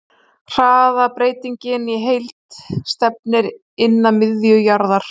Hraðabreytingin í heild stefnir inn að miðju jarðar.